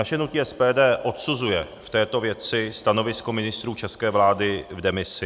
Naše hnutí SPD odsuzuje v této věci stanovisko ministrů české vlády v demisi.